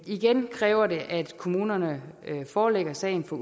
igen kræver det at kommunerne forelægger sagen for